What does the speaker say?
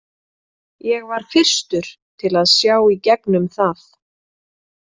Ég var fyrstur til að sjá í gegnum það.